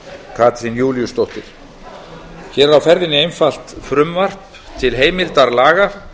katrín júlíusdóttir hér er á ferðinni einfalt frumvarp til heimildar laga